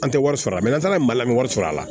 An tɛ wari sɔrɔ n'an taara mali la sɔrɔ a la